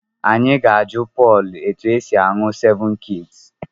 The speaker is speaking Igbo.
Anyị ga-ajụ Pọl etu esi aṅụ sevụn kiis.